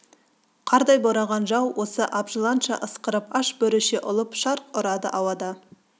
қардай бораған жау оғы абжыланша ысқырып аш бөріше ұлып шарқ ұрады ауада